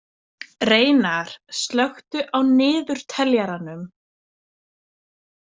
Reynar, slökku á niðurteljaranum.